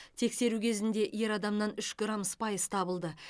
тексеру кезінде ер адамнан үш грамм спайс табылды